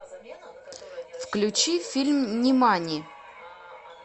включи фильм нимани